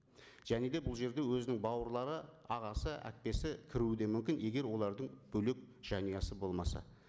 және де бұл жерде өзінің бауырлары ағасы әпкесі кіруі де мүмкін егер олардың бөлек жанұясы болмаса